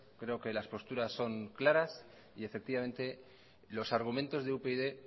creo que las posturas son claras y efectivamente los argumentos de upyd